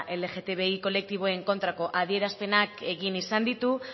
lgtbiko kolektiboen kontrako adierazpenak egin izan ditu